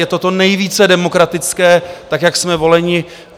Je to to nejvíce demokratické tak, jak jsme voleni.